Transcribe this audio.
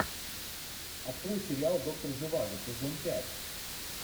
открой сериал доктор живаго сезон пять